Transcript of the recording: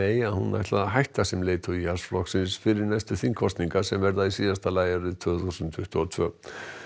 að hún ætlaði að hætta sem leiðtogi Íhaldsflokksins fyrir næstu þingkosningar sem verða í síðasta lagi árið tvö þúsund tuttugu og tvö